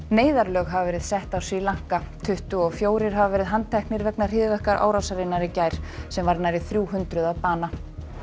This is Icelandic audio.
neyðarlög hafa verið sett á Sri Lanka tuttugu og fjórir hafa verið handteknir vegna hryðjuverkaárásarinnar í gær sem varð nærri þrjú hundruð manns að bana